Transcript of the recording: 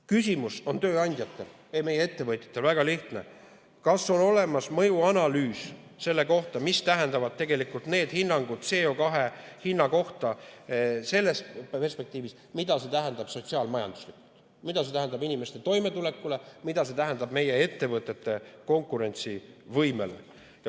Küsimus on tööandjatel ja ettevõtjatel väga lihtne: kas on olemas mõjuanalüüs selle kohta, mida tähendavad tegelikult need hinnangud CO2 hinna kohta selles perspektiivis, mida need tähendavad sotsiaal-majanduslikult, mida need tähendavad inimeste toimetulekule, mida need tähendavad meie ettevõtete konkurentsivõimele?